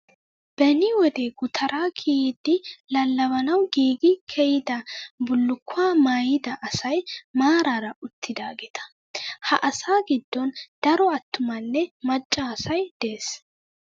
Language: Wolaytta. Beni wode gutara kiyidi lallabanawu giigi kiyidaa bullukkuwaa maayidaa asayi maaraara uttidaageeta. Ha asaa giddon daro attumanne macca asayi des.